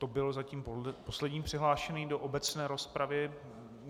To byl zatím poslední přihlášený do obecné rozpravy.